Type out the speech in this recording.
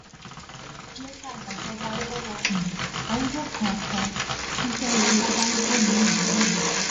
kò yẹ ká gbàjọba lowó um arúgbó kan ká tún nàìjíríà um